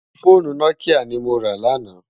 Fónú Nòkiyá ni mó rá làná